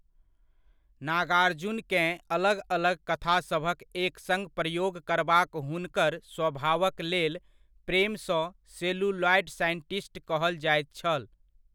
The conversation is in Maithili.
नागार्जुनकेँ अलग अलग कथासभक एकसङ्ग प्रयोग करबाक हुनकर स्वभावक लेल प्रेमसँ 'सेलुलॉयड साइंटिस्ट' कहल जायत छल।